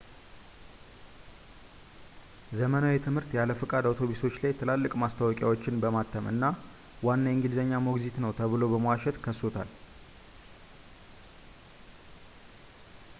ዘመናዊ ትምህርት ያለ ፈቃድ አውቶቡሶች ላይ ትላልቅ ማስታወቂያዎችን በማተም እና ዋና የእንግሊዝኛ ሞግዚት ነው ብሎ በመዋሸት ከሶታል